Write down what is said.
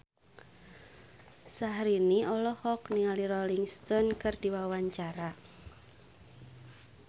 Syahrini olohok ningali Rolling Stone keur diwawancara